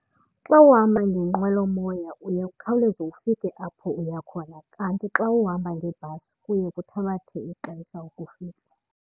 Xa uhamba ngenqwelomoya uye ukhawuleze ufike apho uya khona kanti xa uhamba ngebhasi kuye kuthabathe ixesha ukufika.